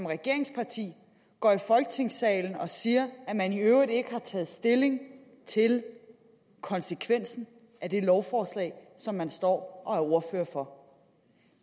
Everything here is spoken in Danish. regeringsparti går i folketingssalen og siger at man i øvrigt ikke har taget stilling til konsekvensen af det lovforslag som man står og er ordfører for